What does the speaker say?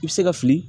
I bɛ se ka fili